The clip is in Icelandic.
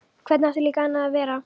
Hvernig átti líka annað að vera?